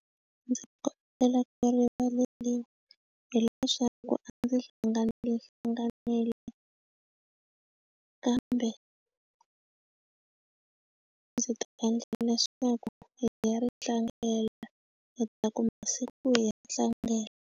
A ndzi kombela ku rivaleriwa hileswaku a ndzi hlanganile hlanganile kambe ndzi ta endla leswaku hi ya ri tlangela kotaku masiku hi tlangela.